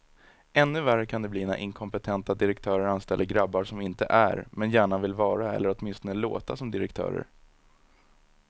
Ännu värre kan det bli när inkompetenta direktörer anställer grabbar som inte är, men gärna vill vara eller åtminstone låta som direktörer.